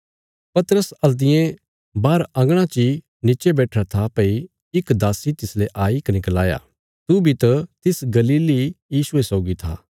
पतरस हल्तियें बाहर अंगणा च इ नीचे बैठिरा था भई इक दासी तिसले आई कने गलाया तू बी त तिस गलीली यीशुये सौगी था